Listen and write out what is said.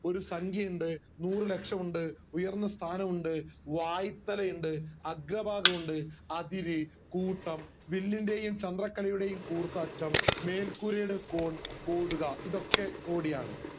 ഒരു സംഖ്യയുണ്ട് നൂറ് ലക്ഷം ഉണ്ട് ഉയർന്ന സ്ഥാനം ഉണ്ട് വായ്ത്തലയുണ്ട് അഗ്രഭാഗം ഉണ്ട് അതിരു കൂട്ടം വിണ്ണിന്റെയും ചന്ദ്രക്കലയുടെയും കൂർത്ത അറ്റം മേൽക്കൂരയുടെ കോൺ കൊടുക ഇതൊക്കെ കോടിയാണ്